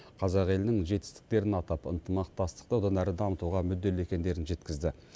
қазақ елінің жетістіктерін атап ынтымақтастықты одан әрі дамытуға мүдделі екендерін жеткізді